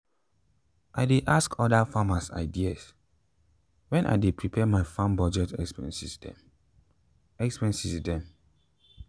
i dey ask other farmers idea when i dey prepare my farm budget expenses dem expenses dem